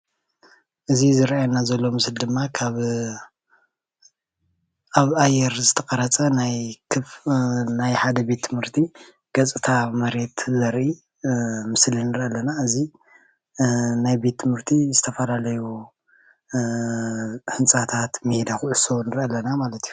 እዚ ዝረአየና ዘሎ ምስሊ ድማ ካብ ኣብ ኣየር ዝተቐረፀ ናይ ክፍ ሓደ ቤት ትምህርቲ ገፅታ መሬት ዘርኢ እ ምስሊ ንሪኢ ኣለና፡፡ እዚ እ ናይ ቤት ትምህርቲ ዝተፈላለዩ እ ህንፃታት ፣ሜዳ ኩዕሶ ንሪኢ ኣለና ማለት እዩ፡፡